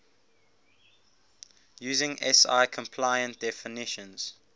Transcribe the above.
using si compliant definitions